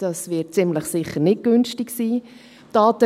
Das wird ziemlich sicher nicht günstig sein.